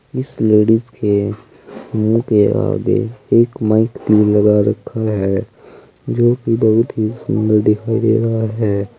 इस लेडीज के मुंह के आगे एक माइक भी लगा रखा है जोकि बहुत ही सुंदर दिखाई दे रहा है।